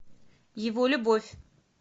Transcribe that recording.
его любовь